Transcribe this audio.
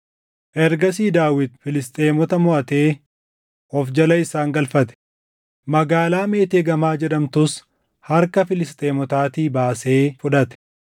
Ergasii Daawit Filisxeemota moʼatee of jala isaan galfate; magaalaa Meeteeg Amaa jedhamtus harka Filisxeemotaatii baasee fudhate.